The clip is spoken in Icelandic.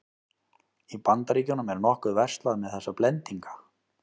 Í Bandaríkjunum er nokkuð verslað með þessa blendinga.